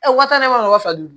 waa tan ne m'a wele wa fila duuru